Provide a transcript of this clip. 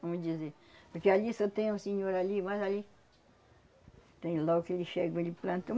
Vamos dizer, porque ali só tem um senhor ali, mas ali tem logo que ele chega, ele planta.